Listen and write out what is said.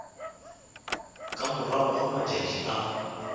ka morago ga matšatši a